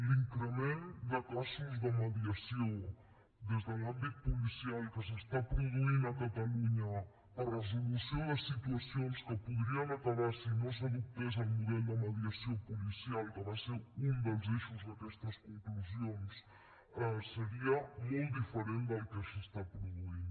l’increment de casos de mediació des de l’àmbit policial que s’està produint a catalunya per resolució de situacions que podrien acabar si no s’adoptés el model de mediació policial que va ser un dels eixos d’aquestes conclusions seria molt diferent del que s’està produint